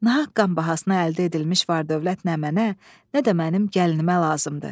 Nahaq qan bahasına əldə edilmiş var-dövlət nə mənə, nə də mənim gəlinimə lazımdır.